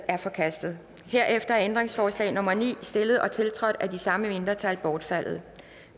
er forkastet herefter er ændringsforslag nummer ni stillet og tiltrådt af de samme mindretal bortfaldet